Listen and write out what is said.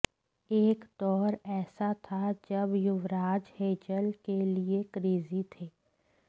एक दौर ऐसा था जब युवराज हेजल के लिए क्रेजी थे